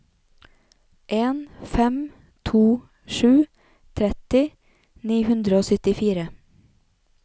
en fem to sju tretti ni hundre og syttifire